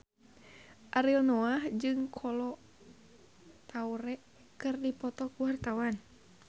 Ariel Noah jeung Kolo Taure keur dipoto ku wartawan